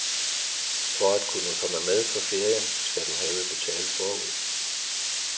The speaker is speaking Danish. For at kunne komme med på ferien skal du have betalt forud.